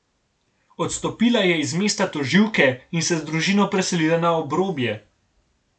Odstopila je z mesta tožilke in se z družino preselila na obrobje.